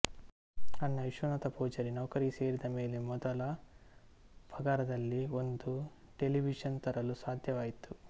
ಅಣ್ಣ ವಿಶ್ವನಾಥ ಪೂಜಾರಿ ನೌಕರಿಗೆ ಸೇರಿದಮೇಲೆ ಮೊದಲ ಪಗಾರದಲ್ಲಿ ಒಂದು ಟೆಲಿವಿಶನ್ ತರಲು ಸಾಧ್ಯವಾಯಿತು